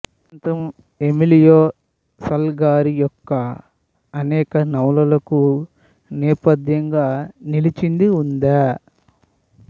ఈ ప్రాంతం Emilio Salgari యొక్క అనేక నవలలకు నేపథ్యంగా నిలిచింది ఉదా